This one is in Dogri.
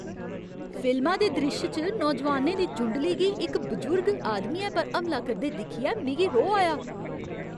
फिल्मा दे द्रिश्श च नौजाआनें दी जुंडली गी इक बजुर्ग आदमियै पर हमला करदे दिक्खियै मिगी रोह् आया।